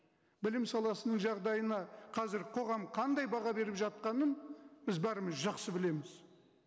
білім саласының жағдайына қазір қоғам қандай баға беріп жатқанын біз бәріміз жақсы білеміз